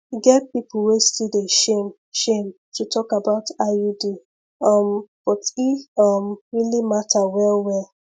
e get people wey still dey shame shame to talk about iud um but e um really matter well well